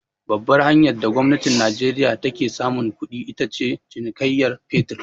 Babbar hanyar da gwamnatin najeriya ta ke samun kuɗi, ita ce cinikayyan fetir.